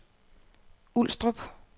Ulstrup